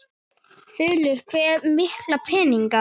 Þulur: Hve mikla peninga?